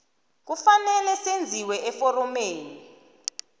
kufanele senziwe eforomeni